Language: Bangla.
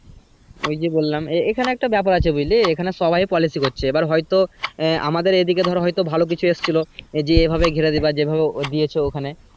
ওই যে বললাম এ এ এইখানে একটা ব্যাপার আছে বুঝলি এইখানে সবাই পলিসি করছে হয়ত আহ আমাদের ধর একদিকে ভালো কিছু এসেছিলো এইভাবে ঘেরে দিবে যেভাবে দিয়েছে ওইখানে।